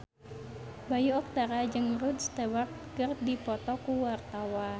Bayu Octara jeung Rod Stewart keur dipoto ku wartawan